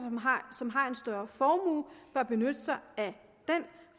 som har en større formue bør benytte sig af den